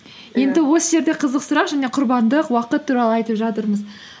енді осы жерде қызық сұрақ және құрбандық уақыт туралы айтып жатырмыз